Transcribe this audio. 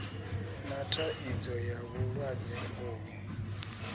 na thaidzo ya vhulwadze uvhu